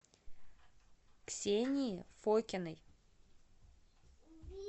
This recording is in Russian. ксении фокиной